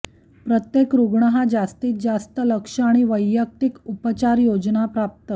प्रत्येक रुग्ण हा जास्तीतजास्त लक्ष आणि वैयक्तिक उपचार योजना प्राप्त